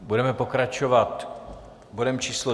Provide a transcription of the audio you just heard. Budeme pokračovat bodem číslo